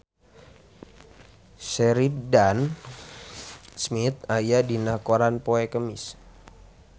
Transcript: Sheridan Smith aya dina koran poe Kemis